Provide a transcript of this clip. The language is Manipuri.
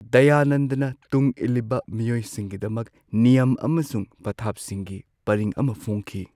ꯗꯌꯥꯅꯟꯗꯅ ꯇꯨꯡꯏꯜꯂꯤꯕ ꯃꯤꯑꯣꯏꯁꯤꯡꯒꯤꯗꯃꯛ ꯅꯤꯌꯝ ꯑꯃꯁꯨꯡ ꯄꯊꯥꯞꯁꯤꯡꯒꯤ ꯄꯔꯤꯡ ꯑꯃ ꯐꯣꯡꯈꯤ꯫